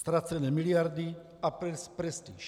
Ztracené miliardy a prestiž.